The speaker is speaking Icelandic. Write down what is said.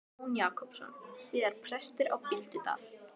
Jón Jakobsson, síðar prestur á Bíldudal.